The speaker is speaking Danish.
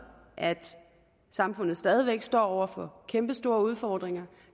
at samfundet stadig væk står over for kæmpestore udfordringer